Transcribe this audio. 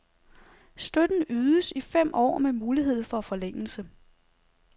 Støtten ydes i fem år med mulighed for forlængelse.